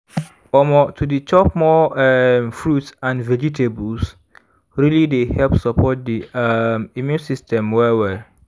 omor to dey chop more um fruits and vegetables really dey help support the um immune system well-well